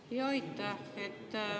Aitäh!